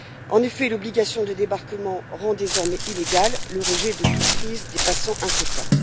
En effet, l'obligation de débarquement rend désormais illégal le rejet de toute prise dépassant un quota.